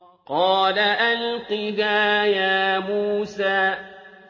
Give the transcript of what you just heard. قَالَ أَلْقِهَا يَا مُوسَىٰ